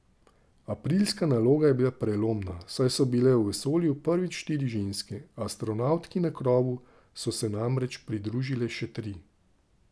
Aprilska naloga je bila prelomna, saj so bile v vesolju prvič štiri ženske, astronavtki na krovu so se namreč pridružile še tri.